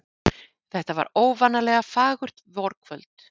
Þetta var óvanalega fagurt vorkvöld.